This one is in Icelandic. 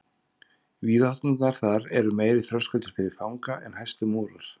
Víðátturnar þar eru meiri þröskuldur fyrir fanga en hæstu múrar.